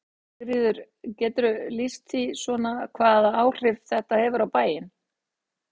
Sigríður: Geturðu lýst því svona hvaða áhrif þetta hefur á bæinn?